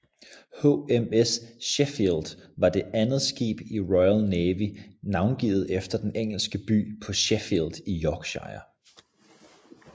HMS Sheffield var det andet skib i Royal Navy navngivet efter den engelske by Sheffield i Yorkshire